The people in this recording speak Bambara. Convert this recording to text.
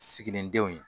Siginindenw ye